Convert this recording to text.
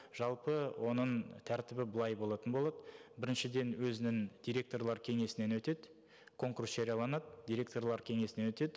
жалпы оның тәртібі былай болатын болады біріншіден өзінің директорлар кеңесінен өтеді конкурс жарияланады директорлар кеңесінен өтеді